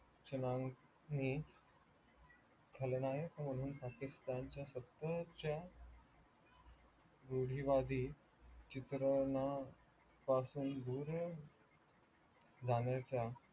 छ्नांकनि खलनायक म्हणून पाकिस्तानच्य सतत च्या रुठीवादी चित्रना पासून दूर जाण्याच्या